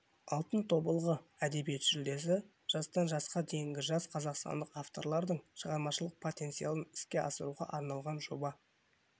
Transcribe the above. алтын тобылғы әдебиет жүлдесі жастан жасқа дейінгі жас қазақстандық авторлардың шығармашылық потенциалын іске асыруға арналған жоба